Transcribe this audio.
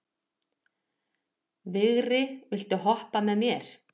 Vigri, viltu hoppa með mér?